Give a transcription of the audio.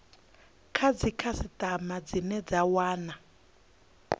kha dzikhasitama dzine dza wana